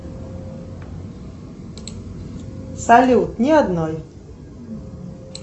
салют ни одной